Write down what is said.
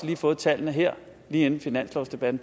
jo fået tallene her lige inden finanslovsdebatten